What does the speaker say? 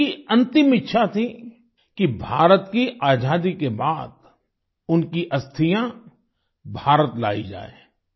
उनकी अंतिम इच्छा थी कि भारत की आजादी के बाद उनकी अस्थियां भारत लायी जाए